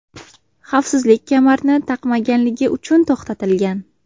xavfsizlik kamarini taqmaganligi uchun to‘xtatilgan.